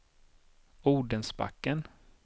Odensbacken